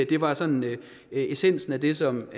det var sådan essensen af det som